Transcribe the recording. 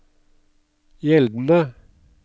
gjeldende